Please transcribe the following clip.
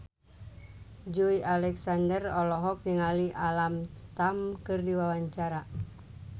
Joey Alexander olohok ningali Alam Tam keur diwawancara